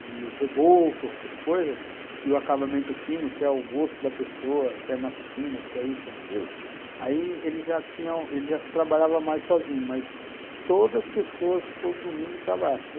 de reboco, essas coisas, e o acabamento fino, que é o gosto da pessoa, se é massa fina, se é isso, se é aquilo, aí eles já tinham, eles já trabalhavam mais sozinhos, mas todas as pessoas, todo domingo, trabalham.